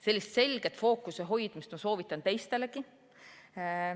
Sellist selget fookuse hoidmist soovitan teistelegi.